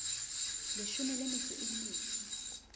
leshome le metso e mmedi